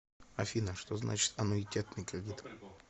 афина что значит аннуитетный кредит